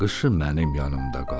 Qışı mənim yanımda qal.